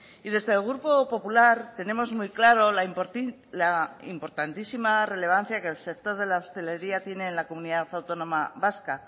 y desde el grupo popular tenemos muy claro la importantísima relevancia que el sector de la hostelería tiene en la comunidad autónoma vasca